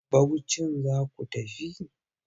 Bauchin za ku tafi?